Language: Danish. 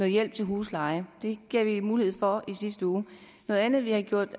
hjælp til huslejen det gav vi mulighed for i sidste uge noget andet vi har gjort